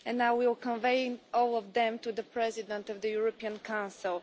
I will convey all of them to the President of the European Council.